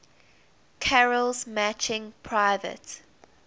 carol's matching private